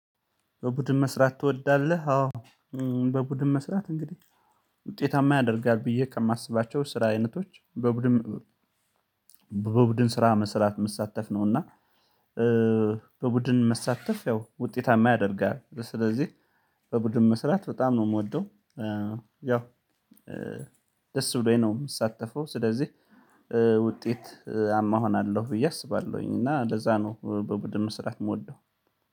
በቡድን መስራት ትወዳለህ? አዎ በቡድን መስራት እንግዲህ ውጤታማ ያደርጋል ብዬ ከማስባቸው ስራ አይነቶች በቡድን በቡድን ስራ መስራት መሳተፍ ነው። እና በቡድን መሳተፍ ያው ውጤታማ ያደርጋል ስለዚህ በቡድን መስራት በጣም ነው የምወደው። ያው ደስ ብሎኝ ነው የምሳተፈው ስለዚህ ውጤታማሆናለሁ ብዬ አስባለሁኝ። እና ለዛ ነው በቡድን ስራ የምወደው።